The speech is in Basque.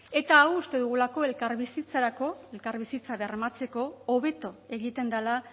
eta hau uste dugulako elkarbizitzarako elkarbizitza bermatzeko hobeto egiten dela